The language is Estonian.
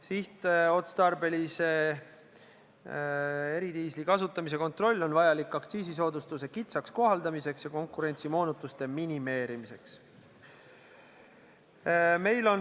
Sihtotstarbelise eridiisli kasutamise kontroll on vajalik aktsiisisoodustuse kitsaks kohaldamiseks ja konkurentsimoonutuste minimeerimiseks.